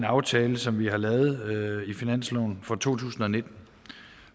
aftale som vi har lavet i finansloven for to tusind og nitten